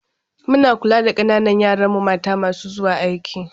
Muna kula da ƙananan yaran mata masu zuwa aiki.